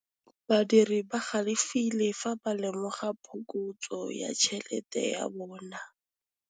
Badiri ba galefile fa ba lemoga phokotsô ya tšhelête ya bone.